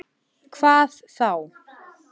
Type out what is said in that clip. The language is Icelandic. Hvað þá!